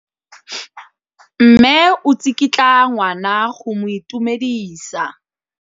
Mme o tsikitla ngwana go mo itumedisa.